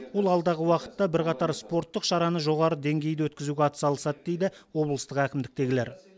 ол алдағы уақытта бірқатар спорттық шараны жоғары деңгейде өткізуге атсалысады дейді облыстық әкімдіктегілер